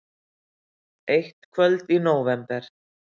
Eitt kvöld í nóvember.